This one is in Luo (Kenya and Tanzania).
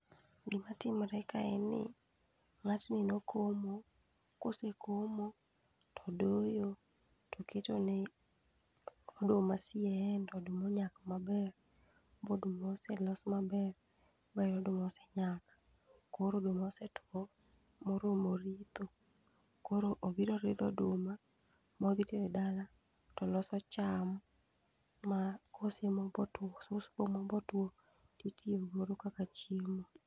Gima timre kae en ni, ng'atni nokomo kose komo, to odoyo to oketo ne oduma mondo oduma onyak maber, bo oduma oselos maber ba oduma osenyak. Koro oduma osetuo moromo ritho, koro obiro ridho oduma modho tero e dala to loso cham ma kose mo bo otuo. osus bo mo motuo titiyo gi moro kaka chiemo.